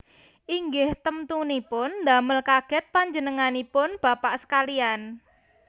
Inggih temtunipun damel kagèt panjenenganipun bapak sekaliyan